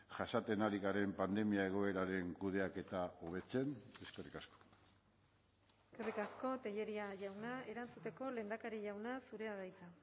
jasaten ari garen pandemia egoeraren kudeaketa hobetzen eskerrik asko eskerrik asko tellería jauna erantzuteko lehendakari jauna zurea da hitza